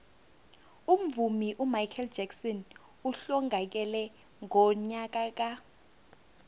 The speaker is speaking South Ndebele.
umvumi umichael jackson uhlongakele ngonyaka ka